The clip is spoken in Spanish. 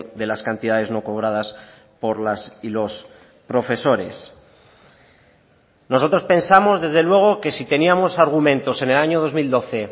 de las cantidades no cobradas por las y los profesores nosotros pensamos desde luego que si teníamos argumentos en el año dos mil doce